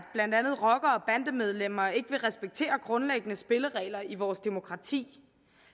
blandt andet rockere og bandemedlemmer ikke vil respektere grundlæggende spilleregler i vores demokrati